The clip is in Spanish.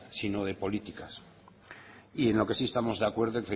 sino de política y en lo que sí estamos de acuerdo